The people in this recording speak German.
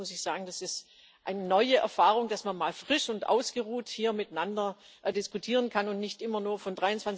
Und deswegen muss ich sagen Es ist eine neue Erfahrung, dass man mal frisch und ausgeruht hier miteinander diskutieren kann und nicht immer nur von